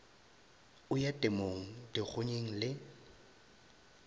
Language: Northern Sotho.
o ya temong dikgonyeng le